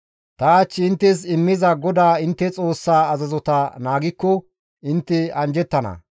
Ta hach inttes immiza GODAA intte Xoossaa azazota naagikko intte anjjettana.